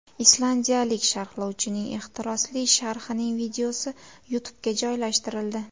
Islandiyalik sharhlovchining ehtirosli sharhining videosi YouTube’ga joylashtirildi .